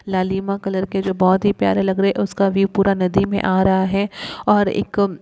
लालिमा कलर के जो बहोत ही प्यारे लग रहे हैं उसका व्यू पूरा नदी में आ रहा हैं और एक --